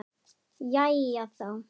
Jæja, þá.